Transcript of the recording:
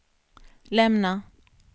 lämna